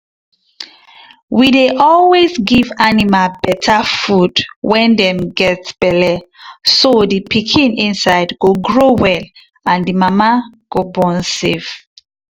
we dey always give animal better food when them get belle so the pikin inside go grow well and the mama go born safe.